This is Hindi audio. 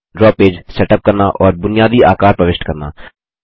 ड्रा पेज सेटअप करना और बुनियादी आकार प्रविष्ट करना